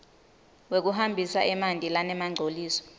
wekuhambisa emanti lanemangcoliso